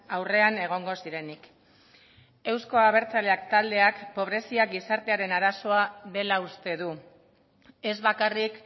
aurrean egongo zirenik euzko abertzaleak taldeak pobrezia gizartearen arazoa dela uste du ez bakarrik